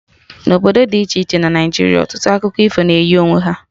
Na obodo dị iche iche na Naịjiria, ọtụtụ akụkọ ifo na eyi onwe ha